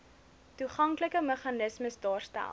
toeganklike meganismes daarstel